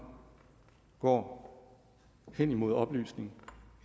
går henimod oplysningen